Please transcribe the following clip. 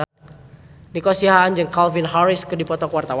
Nico Siahaan jeung Calvin Harris keur dipoto ku wartawan